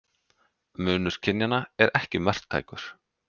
Munur kynjanna er ekki marktækur.